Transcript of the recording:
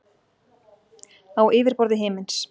Á yfirborði himins.